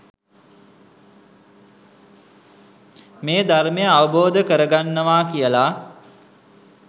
මේ ධර්මය අවබෝධ කරගන්නවා කියලා.